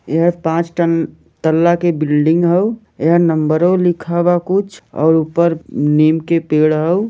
यह पांच तन तल्ला के बिल्डिंग हाउयह नंबरों लिख वा कुछ और ऊपर नीम के पेड़ हाउ।